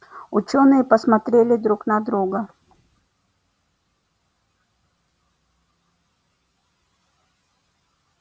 учёные посмотрели друг на друга